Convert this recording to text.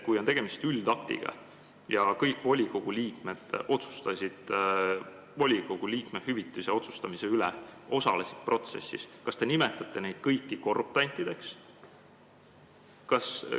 Kui oli tegemist üldaktiga ja kõik volikogu liikmed otsustasid volikogu liikme hüvitise üle, nad osalesid protsessis, siis kas te nimetate neid kõiki korruptantideks?